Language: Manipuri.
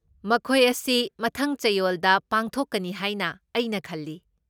ꯃꯈꯣꯏ ꯑꯁꯤ ꯃꯊꯪ ꯆꯌꯣꯜꯗ ꯄꯥꯡꯊꯣꯛꯀꯅꯤ ꯍꯥꯏꯅ ꯑꯩꯅ ꯈꯜꯂꯤ꯫